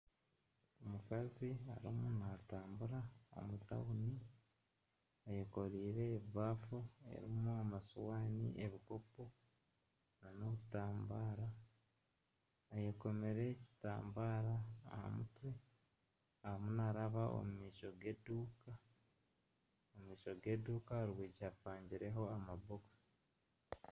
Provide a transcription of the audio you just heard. Omukazi arimu natambura omu tauni ayekoreire ebaafu erimu amasiwani, ebikopo n'obutambaara. Ayekomire ekitambara arimu naaraba omu maisho g'eduuka omu maisho g'eduuka aha rwigi hapangireyo amabokisi.